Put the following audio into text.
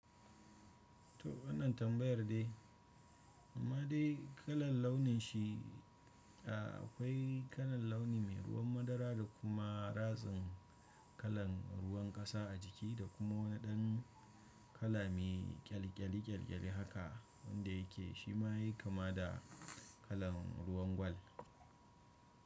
To wannan tambayar daii. Ma dai kalan launin shi a akwai kalan launi mai ruwan madara da kuma ratsin kalan ruwan kasa a jiki da kuma wani ɗan kala mai ƙyalƙyali ƙyalkyali haka wanda yake shima yayi kama da kalan ruwan gwal.